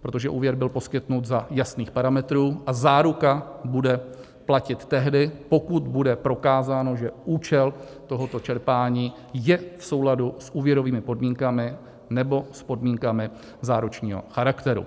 protože úvěr byl poskytnut za jasných parametrů a záruka bude platit tehdy, pokud bude prokázáno, že účel tohoto čerpání je v souladu s úvěrovými podmínkami nebo s podmínkami záručního charakteru.